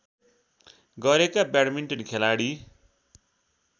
गरेका ब्याडमिन्टन खेलाडी